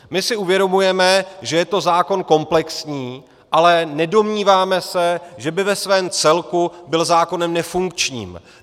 My si uvědomujeme, že je to zákon komplexní, ale nedomníváme se, že by ve svém celku byl zákonem nefunkčním.